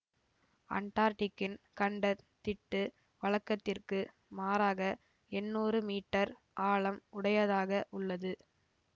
அண்டார்ட்டிக்கின் கண்ட திட்டு வழக்கத்திற்கு மாறாக எண்ணூறு மீட்டர் ஆழம் உடையதாக உள்ளது